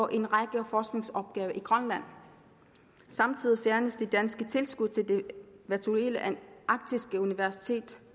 en række forskningsopgaver i grønland samtidig fjernes det danske tilskud til det virtuelle arktiske universitet